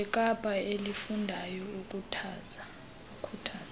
wekapa elifundayo ukhuthaza